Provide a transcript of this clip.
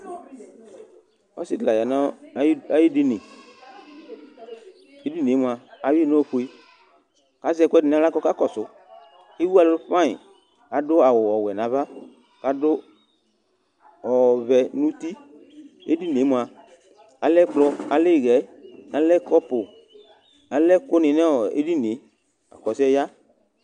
Ɔsɩ ɖɩ la ƴa nʋ aƴʋ eɖiniEɖini ƴɛ mʋa, aƴʋɩ ƴɩ nʋ ofue, ƙʋ azɛ nʋ aɣla ƙʋ ɔƙa ƙɔsʋEwu ɛlʋ fanyɩ, kʋ ta ɖʋ awʋ ɔwɛ nʋ ava, ƙʋ ta ɖʋ ɔvɛ nʋ utiEɖini ƴɛ mʋ,alɛ ɛƙplɔ, ɩhɛ, ƙɔpʋ, alɛ ɛƙʋ nɩ nʋ eɖini ƴɛ laƙʋ ɔsɩ ƴɛ ƴa